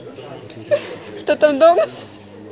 что там дома